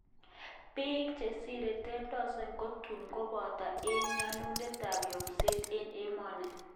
Bik chesire 10,000 kotun koboto eng nyonunet ab yomset eng emoni